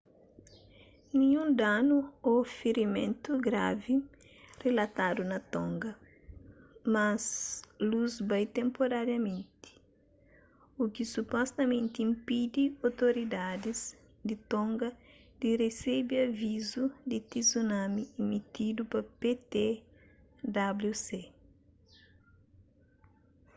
ninhun danu ô firimentu gravi rilatadu na tonga mas lus bai tenpurariamenti u ki supostamenti inpidi otoridadis di tonga di resebe avizu di tsunami emitidu pa ptwc